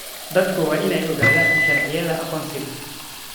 Dadku waa inay ogaadaan sharciyada aqoonsiga.